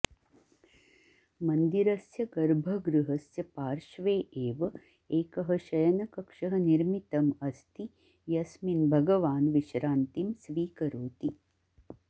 मन्दिरस्य गर्भगृहस्य पार्श्वे एव एकः शयनकक्षः निर्मितम् अस्ति यस्मिन् भगवान् विश्रान्तिं स्वीकरोति